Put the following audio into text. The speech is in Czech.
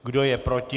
Kdo je proti?